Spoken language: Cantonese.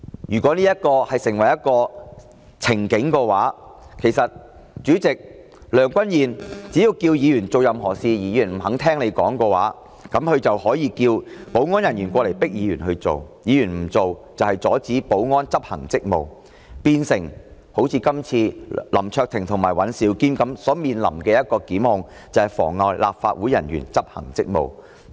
如果這成為一個先例的話，只要梁君彥主席要求議員做任何事而議員不肯聽從的話，他就可以請保安人員迫使議員行事；議員若不聽從，就是阻止保安執行職務，會如林卓廷議員及尹兆堅議員般，面臨"妨礙立法會人員執行職務"的檢控。